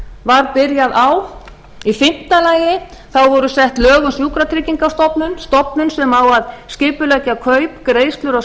var byrjað á í fimmta lagi voru sett lög um sjúkratryggingastofnun stofnun sem á að skipuleggja kaup greiðslur og